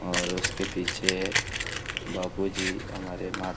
और उसके पीछे बापू जी हमारे महा --